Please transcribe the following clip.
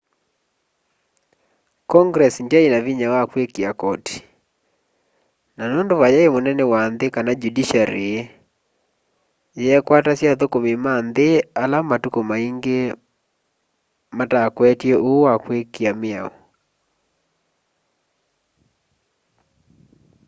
congress ndyaina vinya wa kuikia koti na nundu vayai munene wa nthi kana judiciary yeekwatasya athukumi ma nthi ala matuku maingi matakwetye uu wa kwikia miao